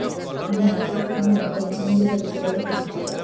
ଆମେ ହଠାତ୍ କାହିଁ ମଦ ନ ମିଳିବା ବିଷୟରେ କହୁଛୁ